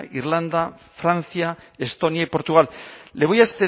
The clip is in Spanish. irlanda francia estonia y portugal le voy a